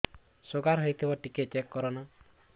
sugar ହେଇଥିବ ଟିକେ check କର ନା